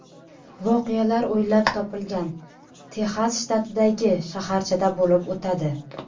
Voqealar o‘ylab topilgan Texas shtatidagi shaharchada bo‘lib o‘tadi.